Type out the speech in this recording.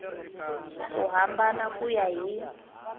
ku hambana ku ya hi